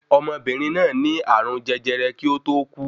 Ọmọbìnrìn náà ní ààrùn jẹjẹrẹ kí ó tó kú.